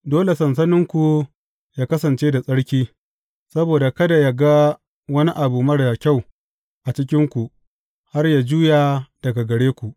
Dole sansaninku yă kasance da tsarki, saboda kada yă ga wani abu marar kyau a cikinku, har yă juya daga gare ku.